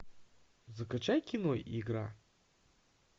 закачай кино игра